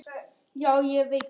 Ha, ég veikur!